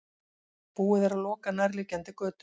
Búið er að loka nærliggjandi götum